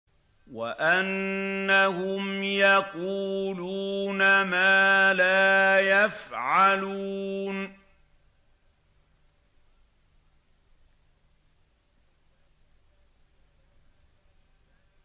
وَأَنَّهُمْ يَقُولُونَ مَا لَا يَفْعَلُونَ